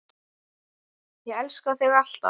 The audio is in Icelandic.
Ég elska þig, alltaf.